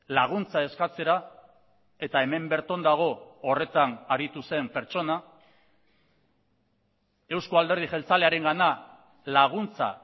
laguntza eskatzera eta hemen bertan dago horretan aritu zen pertsona euzko alderdi jeltzalearengana laguntza